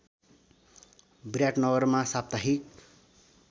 विराटनगरमा साप्ताहिक